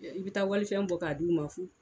I bɛ taa walifɛn bɔ k'a d'i ma fuu.